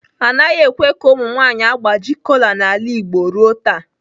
Anaghị ekwe ka ụmụ nwanyị agbaji kola n'ala Igbo ruo taa.